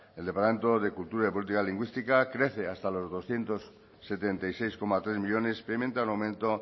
el departamento de cultura y política lingüística crece hasta los doscientos setenta y seis coma tres millónes experimenta un aumento